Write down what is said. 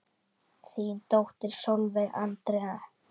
Þín dóttir Sólveig Andrea.